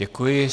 Děkuji.